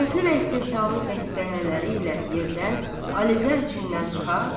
Sürətli və istehzalı qəhqəhələri ilə yerdən aləvlər içindən çıxır.